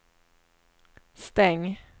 stäng